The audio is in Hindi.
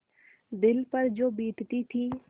दिल पर जो बीतती थी